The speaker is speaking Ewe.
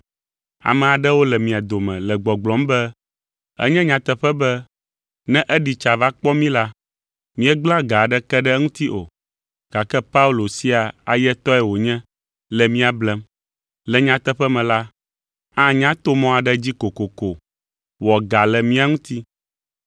Ame aɖewo le mia dome le gbɔgblɔm be, “Enye nyateƒe be ne eɖi tsa va kpɔ mí la, míegblẽa ga aɖeke ɖe eŋuti o, gake Paulo sia ayetɔe wònye le mía blem. Le nyateƒe me la, anya to mɔ aɖe dzi kokoko wɔ ga le mía ŋuti.”